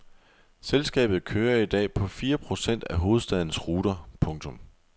Selskabet kører i dag på fire procent af hovedstadens ruter. punktum